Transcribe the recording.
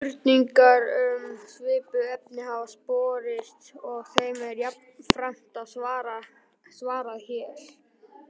Fleiri spurningar um svipuð efni hafa borist og er þeim jafnframt svarað hér.